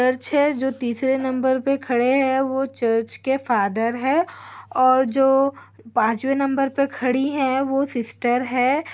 Church है जो तीसरे नंबर पे खड़े हैं वो चर्च के फादर है और जो पांचवें नंबर पर खड़ी है वो सिस्टर है।